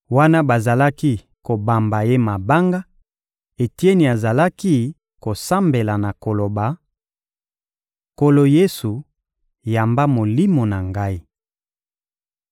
Wana bazalaki kobamba ye mabanga, Etieni azalaki kosambela na koloba: — Nkolo Yesu, yamba molimo na ngai!